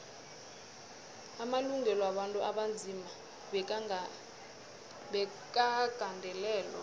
amalungelo wabantu abanzima bekagandelelwe